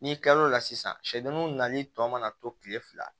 N'i kilal'o la sisan sɛw mun nali tɔ mana to kile fila